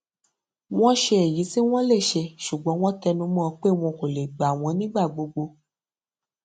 wọn ṣe èyí tí wọn lè ṣe ṣùgbọn wọn tẹnu mọ pé wọn kò lè gba wọn nígbà gbogbo